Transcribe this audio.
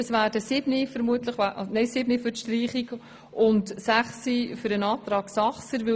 Sieben Fraktionsmitglieder werden für die Streichung und sechs für den Antrag votieren.